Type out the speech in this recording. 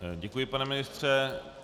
Děkuji, pane ministře.